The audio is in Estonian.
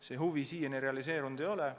See huvi siiani realiseerunud ei ole.